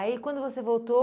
aí quando você voltou,